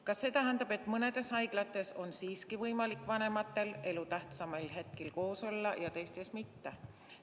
Kas see tähendab, et mõnedes haiglates on siiski võimalik vanematel elu tähtsaimail hetkil koos olla ja teistes mitte?